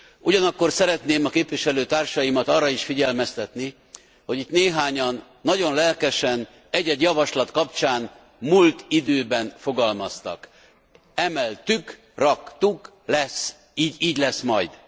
Ugyanakkor szeretném a képviselőtársaimat arra is figyelmeztetni, hogy itt néhányan, nagyon lelkesen egy egy javaslat kapcsán múlt időben fogalmaztak emeltük, raktuk, így lesz majd.